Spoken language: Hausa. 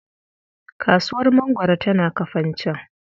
Kasuwar mangwaro tana Kafanchan.